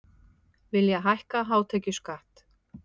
Vilja hækka hátekjuskatt